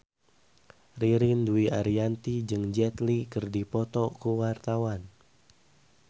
Ririn Dwi Ariyanti jeung Jet Li keur dipoto ku wartawan